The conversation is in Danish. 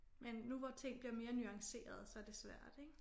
Men nu hvor ting bliver mere nuancerede så det svært ik